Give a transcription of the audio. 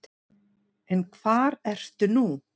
En hvar ertu nú?